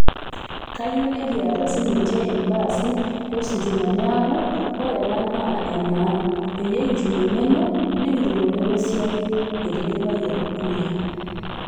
Kiyieu nekiata sininje ilbaasi lositima, neeku ore ena naa enaang' peyie kitum eng'eno nekitum olekosiayo," Etejo Olpayian Kuria.